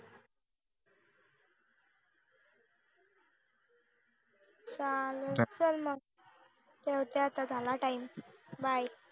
चालेल चल मग ठेवते आता झाला time bye